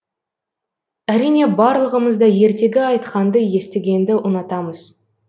әрине барлығымыз да ертегі айтқанды естігенді ұнатамыз